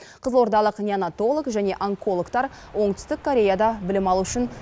қызылордалық неонатолог және онкологтар оңтүстік кореяда білім алу үшін